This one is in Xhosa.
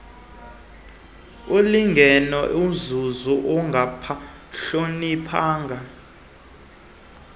ulingene izulu ungabahloniphanga